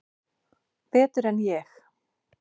Betur en ég?